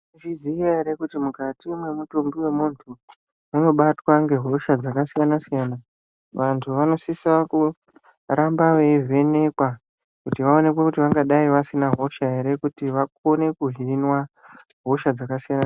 Munozviziya ere kuti mukati mwemutumbi wemuntu munobatwa ngehosha dzakasiyana-siyana? Vantu vanosisa kuramba veivhenekwa, kuti vaonekwe kuti vangadai vasina hosha ere kuti vakone kuhinwa hosha dzakasiyana.